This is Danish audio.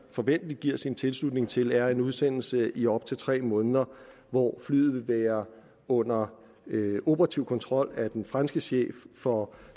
forventeligt giver sin tilslutning til er en udsendelse i op til tre måneder hvor flyet vil være under operativ kontrol af den franske chef for